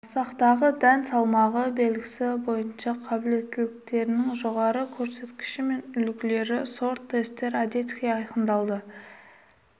масақтағы дән салмағы белгісі бойынша қабілеттіліктерінің жоғары көрсеткіштерімен үлгілері сорт-тестер одесский айқындалды